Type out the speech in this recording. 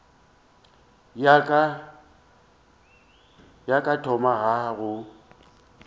ya ka ya thoma go